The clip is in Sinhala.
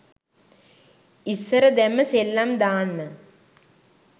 ඉස්සර දැම්ම සෙල්ලම් දාන්න